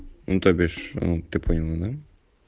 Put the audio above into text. ну то бишь ты поняла да